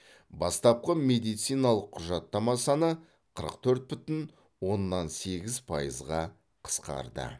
бастапқы медициналық құжаттама саны қырық төрт бүтін оннан сегіз пайызға қысқарды